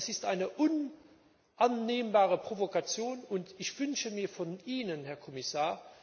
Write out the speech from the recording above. Das ist eine unannehmbare Provokation, und ich wünsche mir klare Worte von Ihnen, Herr Kommissar!